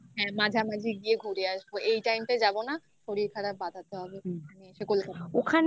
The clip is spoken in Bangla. আর মাঝামাঝি গিয়ে ঘুরে আসবো. এই time টা যাব না. শরীর খারাপ বাধাতে হবে। এসে কলকাতায়